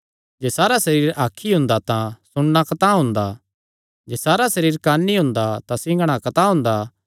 जे सारा सरीर अख ई हुंदा तां सुणना कतांह हुंदा जे सारा सरीर कंन्न ई हुंदा तां सिंघणा कतांह हुंदा